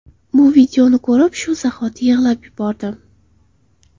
Bu videoni ko‘rib shu zahoti yig‘lab yubordim.